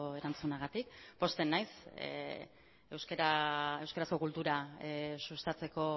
erantzunagatik pozten naiz euskarazko kultura sustatzeko